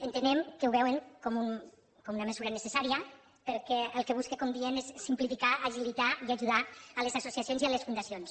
entenem que ho veuen com una mesura necessària perquè el que busca com diem és simplificar agilitar i ajudar les associacions i les fundacions